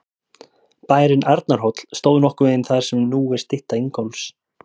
Bærinn Arnarhóll stóð nokkurn veginn þar sem nú er stytta Ingólfs.